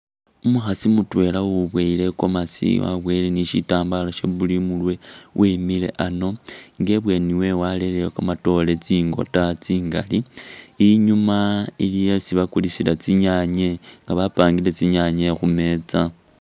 Umukhaasi mutwela uwiboyele i'gomasi, waboyele ni shitambala she blue imurwe wimile ano nga ibweni wewe walereyo kamatoore tsingota tsingaali, inyuma iliyo isi bakulisila tsinyaanye nga bapangile tsinyaanye khumeeza.